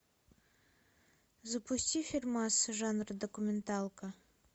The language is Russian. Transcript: запусти фильмас жанра документалка